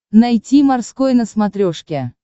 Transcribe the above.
найти морской на смотрешке